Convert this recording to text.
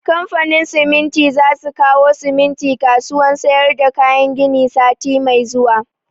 Kamfanin siminti za su kawo siminti kasuwan sayar da kayan gini sati mai zuwa